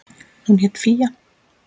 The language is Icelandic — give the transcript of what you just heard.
Hún hét Fía.